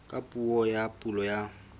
ka puo ya pulo ya